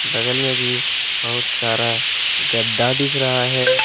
बगल में भी बहुत सारा गद्दा दिख रहा है।